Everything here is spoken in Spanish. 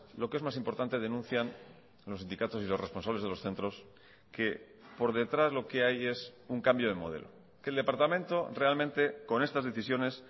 lo que es más importante denuncian los sindicatos y los responsables de los centros que por detrás lo que hay es un cambio de modelo que el departamento realmente con estas decisiones